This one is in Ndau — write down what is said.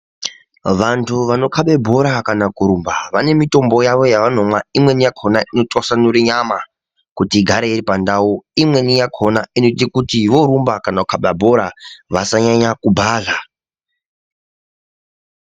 Vantu vanokaba bhora kana kurumba vane mitombo yavanomwa imweni yakhona inotwasanura nyama kuti igare iri pandau imweni yakhona inoti vorumba kana kukhaba bhora vasanyanya kubhadhla.